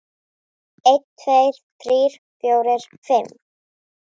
einn. tveir. þrír. fjórir. fimm.